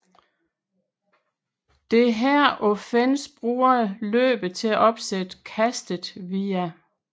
Dette offense bruger løbet til at opsætte kastet via